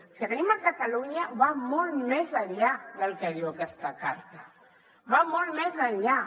el que tenim a catalunya va molt més enllà del que diu aquesta carta va molt més enllà